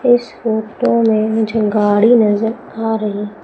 इस फोटो में मुझे गाड़ी नज़र आ रही--